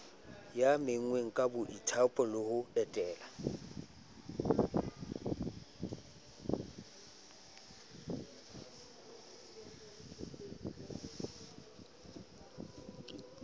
menngweng ka boithaopo ho etella